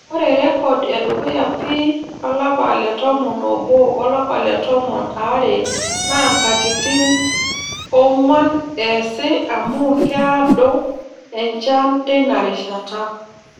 Ore rrekod edukuya pii olapa le tomon oobo o lapa le tomon aare naa nkatitin oong'wan eesi amuu keaado enchan teina rishata.